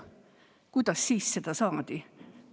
Kuidas siis seda saadi?